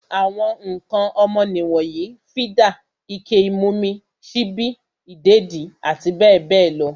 Àwọn ǹkan ọmọ nì wonyii, fídà, ike ìmumi, sípí, ìdèdí abbl.